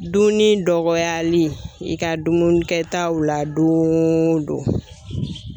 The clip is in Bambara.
Duuni dɔgɔyali i ka dumunikɛtaw la don o don.